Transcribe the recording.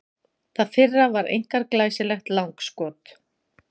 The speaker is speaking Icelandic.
Það fyrra var einkar glæsilegt langskot.